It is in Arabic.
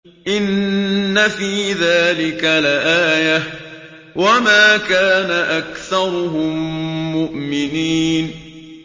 إِنَّ فِي ذَٰلِكَ لَآيَةً ۖ وَمَا كَانَ أَكْثَرُهُم مُّؤْمِنِينَ